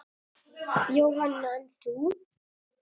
Jóhann: En þú?